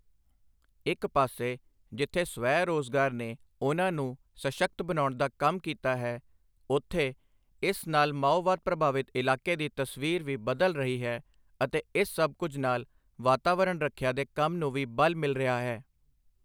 ਇੱਕ ਪਾਸੇ ਜਿੱਥੇ ਸਵੈ ਰੋਜ਼ਗਾਰ ਨੇ ਉਨ੍ਹਾਂ ਨੂੰ ਸਸ਼ਕਤ ਬਣਾਉਣ ਦਾ ਕੰਮ ਕੀਤਾ ਹੈ, ਉੱਥੇ ਇਸ ਨਾਲ ਮਾਓਵਾਦ ਪ੍ਰਭਾਵਿਤ ਇਲਾਕੇ ਦੀ ਤਸਵੀਰ ਵੀ ਬਦਲ ਰਹੀ ਹੈ ਅਤੇ ਇਸ ਸਭ ਕੁਝ ਨਾਲ ਵਾਤਾਵਰਣ ਰੱਖਿਆ ਦੇ ਕੰਮ ਨੂੰ ਵੀ ਬਲ ਮਿਲ ਰਿਹਾ ਹੈ।